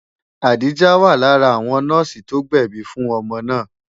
Adijah wà lára àwọn nọ́ọ̀sì tó gbẹ̀bi fún ọmọ náà.